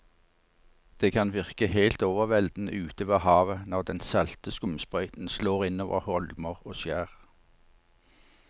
Det kan virke helt overveldende ute ved havet når den salte skumsprøyten slår innover holmer og skjær.